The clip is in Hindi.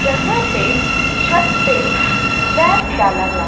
जहां पे छत पे स्लैब डाला जा--